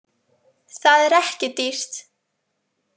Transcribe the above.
Það er ekki dýrt